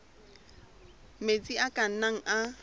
metsi a ka nnang a